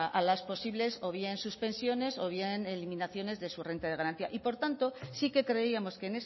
a las posibles o bien suspensiones o bien eliminaciones de su renta de garantía y por tanto sí que creíamos que